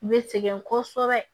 I bɛ sɛgɛn kosɛbɛ